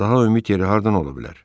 Daha ümid yeri hardan ola bilər?